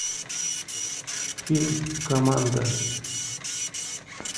фильм команда